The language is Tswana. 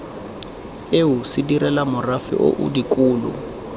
eo sedirela morafe oo dikolo